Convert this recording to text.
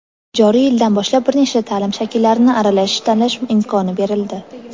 Joriy yildan boshlab bir nechta taʼlim shakllarini aralash tanlash imkoni berildi.